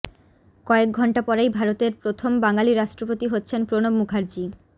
কয়েক ঘণ্টা পরেই ভারতের প্রথম বাঙালি রাষ্ট্রপতি হচ্ছেন প্রণব মুখার্জি